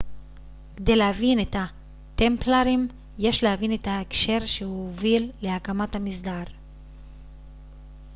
כדי להבין את הטמפלרים יש להבין את ההקשר שהוביל להקמת המסדר